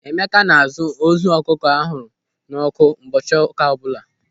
Emeka na-azụ ozu ọkụkọ a hụrụ n'ọ́kụ́ ụbọchị ụka ọbụla.